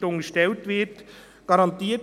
Das ist für uns klar.